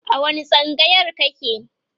a wani tsangayar kake?